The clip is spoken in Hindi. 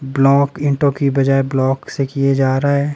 ब्लॉक इंटो की बजाय ब्लॉक से किए जा रहा है।